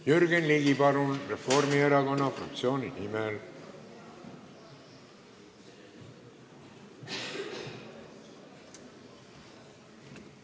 Jürgen Ligi, palun, Reformierakonna fraktsiooni nimel!